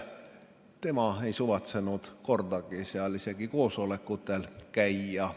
Tema ei suvatsenud kordagi seal isegi koosolekutel käia.